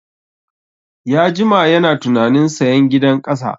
Ya jima yana tunanin sayan gidan ƙasa